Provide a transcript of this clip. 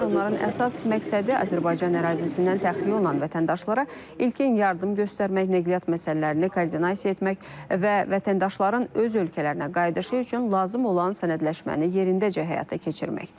onların əsas məqsədi Azərbaycan ərazisindən təxliyə olan vətəndaşlara ilkin yardım göstərmək, nəqliyyat məsələlərini koordinasiya etmək və vətəndaşların öz ölkələrinə qayıdışı üçün lazım olan sənədləşməni yerindəcə həyata keçirməkdir.